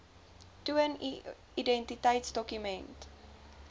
toon u identiteitsdokument